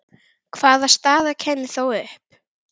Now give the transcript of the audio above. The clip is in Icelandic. Hvaða staða kæmi þá upp?